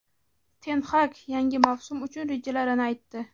Ten Hag yangi mavsum uchun rejalarini aytdi;.